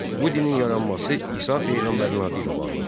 Bu dinin yaranması İsa peyğəmbərin adı ilə bağlıdır.